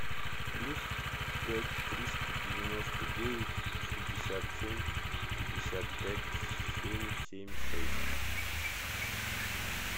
плюс пять триста девяносто девять шестьдесят семь пятьдесят пять семь семь шесть